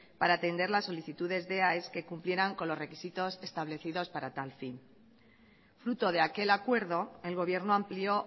para atender las solicitudes de aes que cumplieran con los requisitos establecidos para tal fin fruto de aquel acuerdo el gobierno amplió